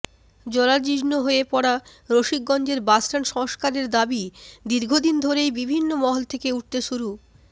জরাজীর্ণ হয়ে পড়া রসিকগঞ্জের বাসস্ট্যান্ড সংস্কারের দাবি দীর্ঘদিন ধরেই বিভিন্ন মহল থেকে উঠতে শুরু